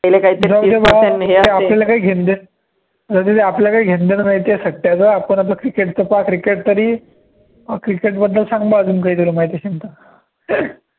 आपल्याला काही घेणं देणं जाऊदे ते आपल्याला काही घेणं देणं नाही त्या सट्टयाचं आपण आपलं cricket चं पहा cricket तरी cricket बद्दल सांग मग अजून काहीतरी माहिती असेल तर